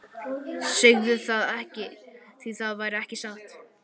Segðu það ekki, því það væri ekki satt.